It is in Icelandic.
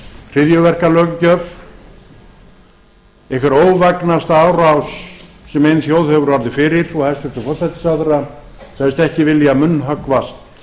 hryðjuverkalöggjöf einhver óvægnasta árás sem ein þjóð hefur orðið fyrir og hæstvirtur forsætisráðherra sagðist ekki vilja munnhöggvast